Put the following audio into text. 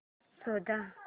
शोध